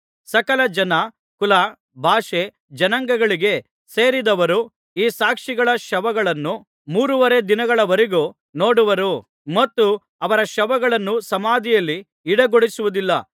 ಸಕಲ ಜನ ಕುಲ ಭಾಷೆ ಜನಾಂಗಗಳಿಗೆ ಸೇರಿದವರು ಈ ಸಾಕ್ಷಿಗಳ ಶವಗಳನ್ನು ಮೂರುವರೆ ದಿನಗಳವರೆಗೂ ನೋಡುವರು ಮತ್ತು ಅವರ ಶವಗಳನ್ನು ಸಮಾಧಿಯಲ್ಲಿ ಇಡಗೊಡಿಸುವುದಿಲ್ಲ